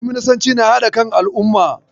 Kwaminasanci na haɗa kan al'umma.